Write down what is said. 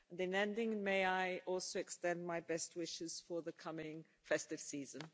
In ending, may I also extend my best wishes for the coming festive season.